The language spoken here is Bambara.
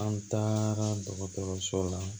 An taara dɔgɔtɔrɔso la